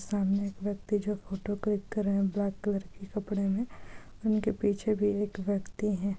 सामने एक व्यक्ति जो फोटो क्लिक कर रहे है ब्लैक कलर के कपड़े मै उनके पीछे भी एक व्यक्ति हैं।